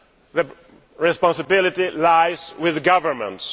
The responsibility lies with governments.